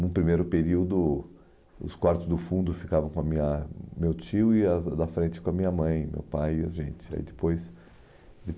No primeiro período, os quartos do fundo ficavam com a minha a meu tio e as da frente com a minha mãe, meu pai e a gente ai depois